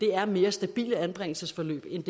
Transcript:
er mere stabile anbringelsesforløb end